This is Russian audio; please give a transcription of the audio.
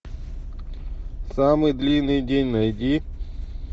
самый длинный день найди